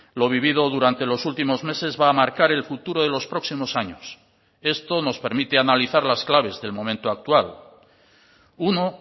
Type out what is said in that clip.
lo vivido durante los últimos meses va a marcar el futuro de los próximos años esto nos permite analizar las claves del momento actual uno